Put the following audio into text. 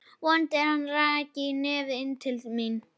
Vonaði að hann ræki nefið inn til mín.